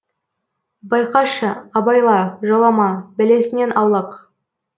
байқашы абайла жолама бәлесінен аулақ